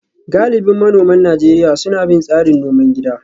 Galibin manoman Najeriya suna bin tsarin noman gida